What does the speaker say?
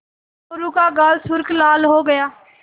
मोरू का गाल सुर्ख लाल हो गया